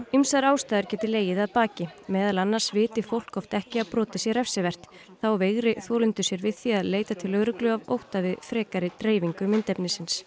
ýmsar ástæður geti legið að baki meðal annars viti fólk oft ekki að brotið sé refsivert þá veigri þolendur sér við því að leita til lögreglu af ótta við frekari dreifingu myndefnisins